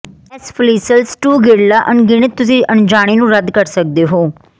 S ਫ਼ਲੀਸੀਲ ਸਟੁਗੀਰਲਾ ਅਣਗਿਣਤ ਤੁਸੀਂ ਅਣਜਾਣੇ ਨੂੰ ਰੱਦ ਕਰ ਸਕਦੇ ਹੋ